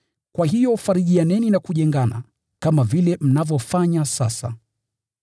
Kwa hiyo farijianeni na kujengana, kama vile mnavyofanya sasa.